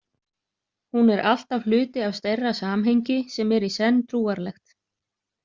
Hún er alltaf hluti af stærra samhengi sem er í senn trúarlegt.